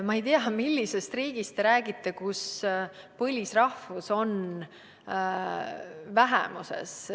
Ma ei tea, millisest riigist te räägite, kus põlisrahvus oleks vähemuses.